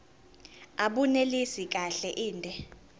abunelisi kahle inde